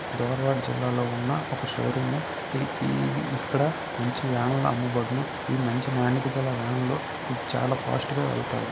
జిల్లా లో ఉన్న ఒక షోరూమ్ ఇక్కడ మంచి వ్యాన్ లు అమ్మబడును ఈ మంచి వ్యాన్ లు చాల ఫాస్ట్ గ వెళ్తాయి.